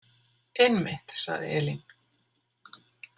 Einmitt, sagði Elín.